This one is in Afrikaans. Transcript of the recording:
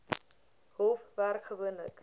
hof werk gewoonlik